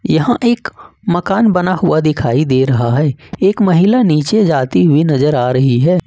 यहा एक मकान बना हुआ दिखाई दे रहा है एक महिला नीचे जाती हुई नजर आ रही है।